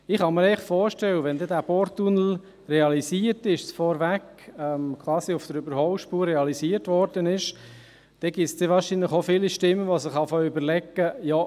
Ich kann mir vorstellen: Wenn der Porttunnel realisiert ist – quasi vorweg auf der Überholspur realisiert worden ist –, wird es dann wahrscheinlich viele Stimmen geben, die sich zu überlegen beginnen: